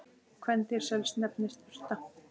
Kvendýr sels nefnist urta.